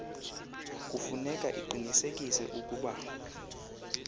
kufuneka iqinisekise ukuba